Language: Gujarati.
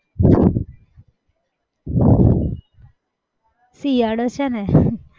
શિયાળો છે ને